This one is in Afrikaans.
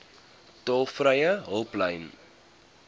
tolvrye hulplyn